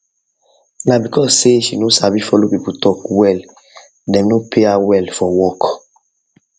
na because say she no sabi follow people talk well dem no dey pay her well for work